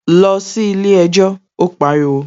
Lọ sí ilé ẹjọ́! Ó pariwo